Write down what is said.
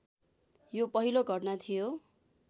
यो पहिलो घटना थियो